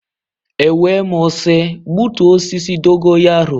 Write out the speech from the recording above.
E wee m sị gbutuo osisi dogo yaro.